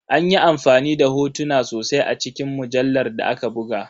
An yi amfani da hotuna sosai a cikin mujallar da aka buga.